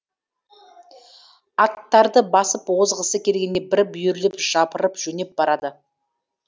аттарды басып озғысы келгендей бір бүйірлеп жапырып жөнеп барады